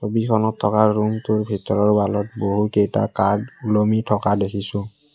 ছবিখনত থকা ৰূমটোৰ ভিতৰৰ ৱালত বহুকেইটা কাৰ্ড ওলমি থকা দেখিছোঁ।